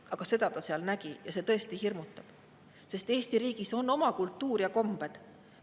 Aga seda ta seal nägi ja see tõesti hirmutab, sest Eesti riigis on oma kultuur ja kombed.